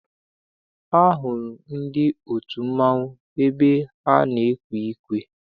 Ahụrụ m ndị otu mmanwụ ebe ha na-ekwe ukwe.